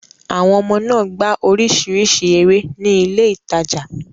Àwọn ọmọ náà gbá oríṣiríṣi eré ní ilé ìtajà.